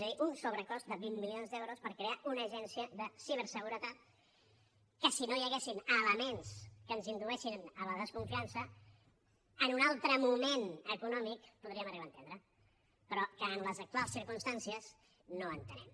és a dir un sobrecost de vint milions d’euros per crear una agència de ciberseguretat que si no hi haguessin elements que ens indueixen a la desconfiança en un altre moment econòmic podríem arribar a entendre però que en les actuals circumstàncies no entenem